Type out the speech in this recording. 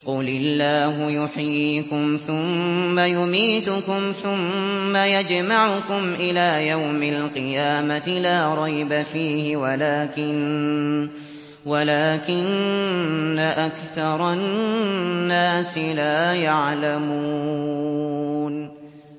قُلِ اللَّهُ يُحْيِيكُمْ ثُمَّ يُمِيتُكُمْ ثُمَّ يَجْمَعُكُمْ إِلَىٰ يَوْمِ الْقِيَامَةِ لَا رَيْبَ فِيهِ وَلَٰكِنَّ أَكْثَرَ النَّاسِ لَا يَعْلَمُونَ